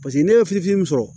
Paseke n'i ye fifin sɔrɔ